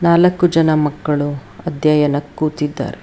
ನಾಲಕು ಜನ ಮಕ್ಕಳು ಅಧ್ಯಯನ ಕೂತಿದ್ದಾರೆ.